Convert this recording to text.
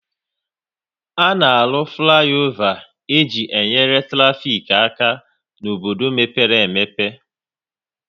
A na-arụ fliova e ji nyere traffic aka n'obodo mepere emepe